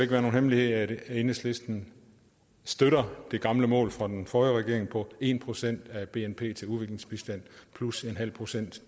være nogen hemmelighed at enhedslisten støtter det gamle mål fra den forrige regering på en procent af bnp til udviklingsbistand plus en halv procent